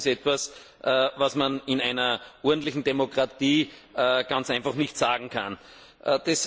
Das ist etwas, was man in einer ordentlichen Demokratie ganz einfach nicht sagen darf!